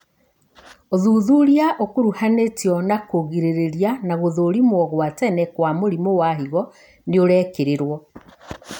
ũthuthuria ũkuruhanĩtio na kũrigĩrĩria na gũthũrimwo gwa tene kwa mũrimũ wa higo nĩũrekĩrĩrwo